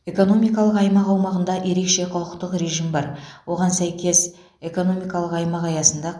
экономикалық аймақ аумағында ерекше құқықтық режим бар оған сәйкес экономикалық аймақ аясында